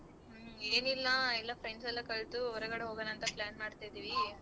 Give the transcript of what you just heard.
ಏನಿಲ್ಲ ಎಲ್ಲಾ friends ಎಲ್ಲಾ ಕಲ್ತು ಹೊರಗಡೆ ಹೋಗಣ ಅಂತ plan ಮಾಡ್ತಿದಿವಿ.